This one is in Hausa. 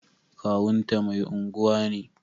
Kawunta mai unguwa ne.